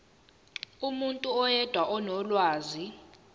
umuntu oyedwa onolwazi